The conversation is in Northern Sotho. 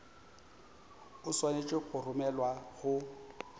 o swanetše go romelwa go